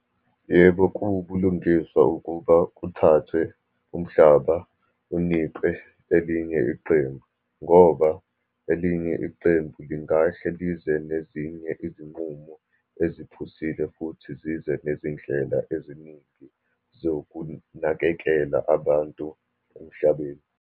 Yebo, kuwubulungiswa ukuba kuthathwe umhlaba unikwe elinye iqembu, ngoba elinye iqembu lingahle lize nezinye izinqumo eziphusile, futhi zize nezindlela eziningi zokunakekela abantu emhlabeni.